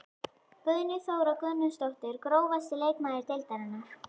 Guðný Þóra Guðnadóttir Grófasti leikmaður deildarinnar?